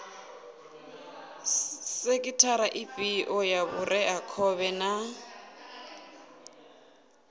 sekhithara ifhio ya vhureakhovhe na